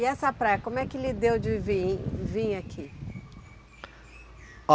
E essa praia, como é que lhe deu de vir, vim aqui? A